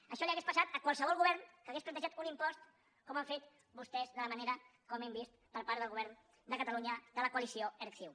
això li hauria passat a qualsevol govern que hagués plantejat un impost com han fet vostès de la manera com hem vist per part del govern de catalunya de la coalició erc ciu